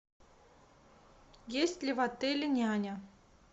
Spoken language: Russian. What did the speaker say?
есть ли в отеле няня